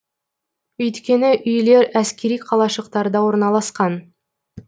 өйткені үйлер әскери қалашықтарда орналасқан